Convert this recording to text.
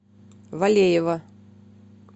валеева